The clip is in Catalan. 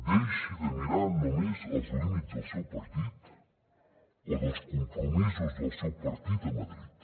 deixi de mirar només els límits del seu partit o dels compromisos del seu partit a madrid